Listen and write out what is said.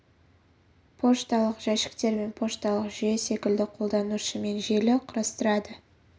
пошталық жәшіктер мен пошталық жүйе секілді қолданушы мен желі құрастырады